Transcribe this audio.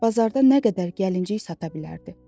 bazarda nə qədər gəlinciy sata bilərdi.